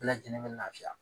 Bɛɛ lajɛlen be lafiya